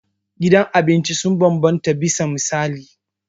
Gidan abinci sun bambanta bisa misali.